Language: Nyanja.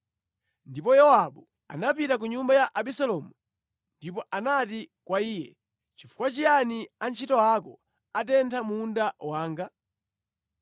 Ndipo Yowabu anapita ku nyumba ya Abisalomu ndipo anati kwa iye, “Nʼchifukwa chiyani antchito ako atentha munda wanga?”